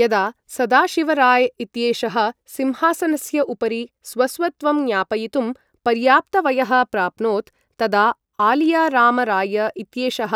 यदा सदाशिवराय इत्येषः सिंहासनस्य उपरि स्वस्वत्वं ज्ञापयितुं पर्याप्तवयः प्राप्नोत्, तदा आलियारामराय इत्येषः